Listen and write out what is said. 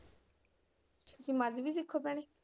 ਤੁਸੀਂ ਮਜ਼ਬੀ ਸਿੱਖ ਹੋ ਭੈਣੇ?